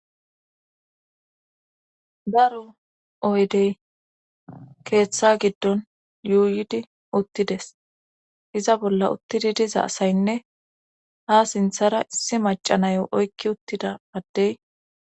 Daro oydey keetha giddon yuuyidi uttides iza bolla uttidi diza asaynne haa sinthata issi macca nayo oykki uttida addey.